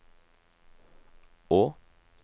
å